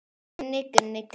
Gunni, Gunni, Gunni.